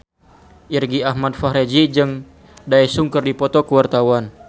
Irgi Ahmad Fahrezi jeung Daesung keur dipoto ku wartawan